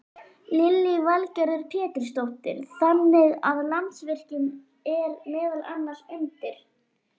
Lillý Valgerður Pétursdóttir: Þannig að Landsvirkjun er meðal annars undir?